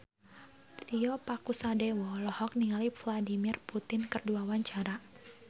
Tio Pakusadewo olohok ningali Vladimir Putin keur diwawancara